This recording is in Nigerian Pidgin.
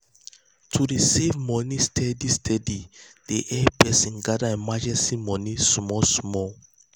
to dey save money steady um steady dey help person um gather emergency money small small.